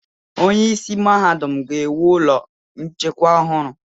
Onyeisi Mahadum ga-ewu ụlọ nchekwa ọhụrụ.